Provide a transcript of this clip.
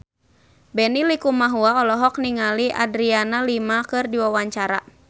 Benny Likumahua olohok ningali Adriana Lima keur diwawancara